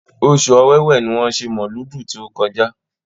Oṣù Ọ̀wẹ̀wẹ̀ ni wọ́n ṣe mọ̀lúùdì tí ó kọjá.